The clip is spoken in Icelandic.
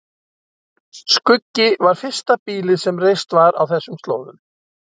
Skuggi var fyrsta býlið sem reist var á þessum slóðum.